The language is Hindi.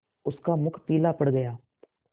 उसका मुख पीला पड़ गया